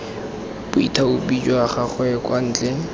boithaopi jwa gagwe kwa ntle